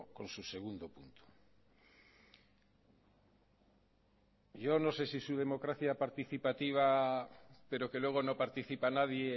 con su segundo punto yo no sé si su democracia participativa pero que luego no participa nadie